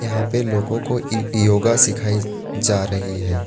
यहां पे लोगों को ई योगा सिखाई जा रही है।